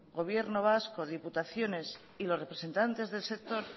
haga gobierno vasco diputaciones y los representantes del sector